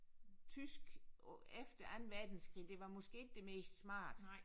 Tysk efter anden verdenskrig det var måske ikke det mest smarte